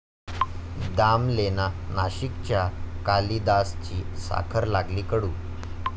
दामलेंना नाशिकच्या कालिदासची 'साखर' लागली कडू